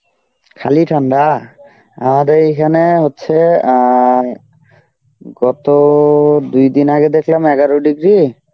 খালি ঠান্ডা? আমাদের এইখানে হচ্ছে অ্যাঁ গত দুই দিন আগে দেখলাম এগারো degree,